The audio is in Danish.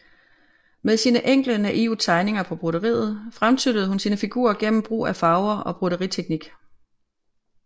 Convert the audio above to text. Med sine enkle naive tegninger på broderiet fremtryller hun sine figurer gennem brug af farver og broderiteknik